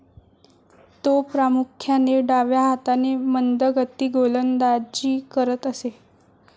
तो प्रामुख्याने डाव्या हाताने मंदगती गोलंदाजी करत असे.